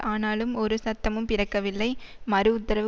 ஆனாலும் ஒரு சத்தமும் பிறக்கவில்லை மறு உத்தரவு